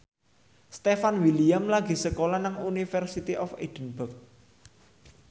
Stefan William lagi sekolah nang University of Edinburgh